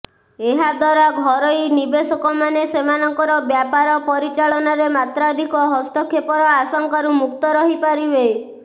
ଏହାଦ୍ୱାରା ଘରୋଇ ନିବେଶକମାନେ ସେମାନଙ୍କର ବ୍ୟାପାର ପରିଚାଳନାରେ ମାତ୍ରାଧିକ ହସ୍ତକ୍ଷେପର ଆଶଙ୍କାରୁ ମୁକ୍ତ ରହିପାରିବେ